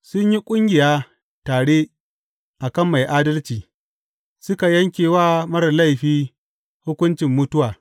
Sun yi ƙungiya tare a kan mai adalci suka yanke wa marar laifi hukuncin mutuwa.